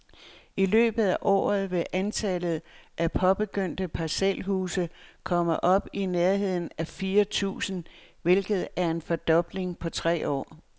I løbet af året vil antallet af påbegyndte parcelhuse komme op i nærheden af fire tusind, hvilket er en fordobling på tre år.